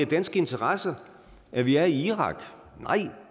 danske interesser at vi er i irak nej